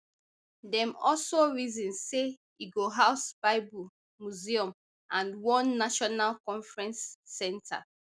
dem also reason say e go house bible museum and one national conference centre